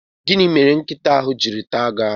Gịnị mere nkịta ahụ jiri taa gi aru?